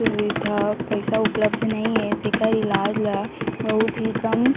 सुविधा पइसा उपलब्ध नई ए तेकर इलाज ला बहुत ही कम--